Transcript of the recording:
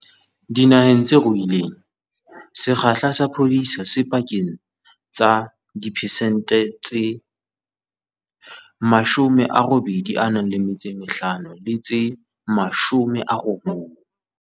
Dinaheng tse ruileng, sekgahla sa phodiso se pakeng tsa diphesente tse 85 le tse 90.